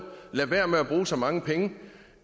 lade være med at bruge så mange penge